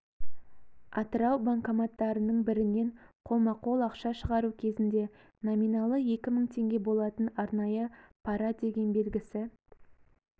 атырау банкоматтарының бірінен қолма-қол ақша шығару кезінде номиналы екі мың теңге болатын арнайы пара деген белгісі